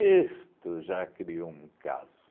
Isto já criou um caso.